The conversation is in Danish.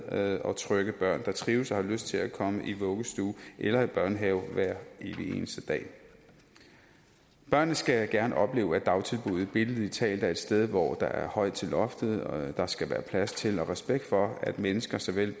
glade og trygge børn der trives og har lyst til at komme i vuggestue eller børnehave hver evig eneste dag børnene skal gerne opleve at dagtilbuddet billedligt talt er et sted hvor der er højt til loftet og der skal være plads til og respekt for at mennesker såvel